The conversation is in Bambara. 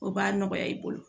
O b'a nɔgɔya i bolo